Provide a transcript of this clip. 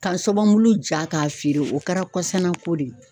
Ka zɔbɔbu ja k'a feere o kɛra kɔsana ko de ye